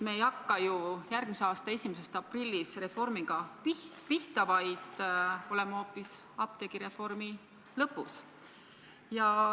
Me ei hakka ju järgmise aasta 1. aprillist reformiga pihta, vaid me oleme hoopis apteegireformi lõpus.